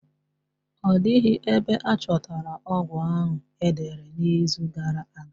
Ọ dịghị ebe a chọtara ọgwụ ahụ e dere n'izu gara aga.